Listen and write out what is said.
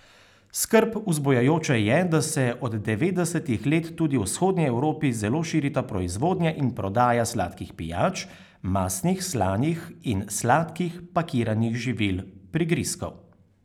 Skrb vzbujajoče je, da se od devetdesetih let tudi v vzhodni Evropi zelo širita proizvodnja in prodaja sladkih pijač, mastnih, slanih in sladkih pakiranih živil, prigrizkov.